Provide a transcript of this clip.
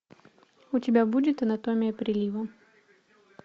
у тебя будет анатомия прилива